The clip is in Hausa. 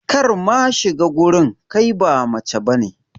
Kar ma shiga wurin, kai ba mace bane.